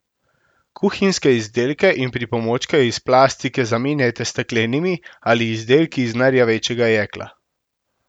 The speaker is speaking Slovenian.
Kuhinjske izdelke in pripomočke iz plastike zamenjajte s steklenimi ali izdelki iz nerjavečega jekla.